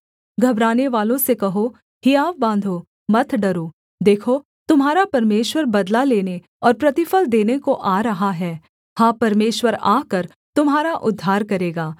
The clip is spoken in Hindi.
घबरानेवालों से कहो हियाव बाँधो मत डरो देखो तुम्हारा परमेश्वर बदला लेने और प्रतिफल देने को आ रहा है हाँ परमेश्वर आकर तुम्हारा उद्धार करेगा